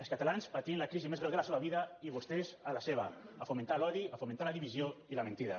els catalans patint la crisi més greu de la seva vida i vos·tès a la seva a fomentar l’odi a fomentar la divisió i la mentida